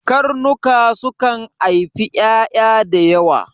Karnuka sukan aifi ƴaƴa da yawa